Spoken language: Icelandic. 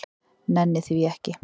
Nenni því ekki.